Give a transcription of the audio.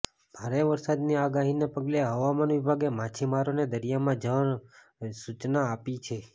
ભારે વરસાદની આગાહીને પગલે હવામાન વિભાગે માછીમારોને દરિયામાં ન જવા સૂચના આપી છે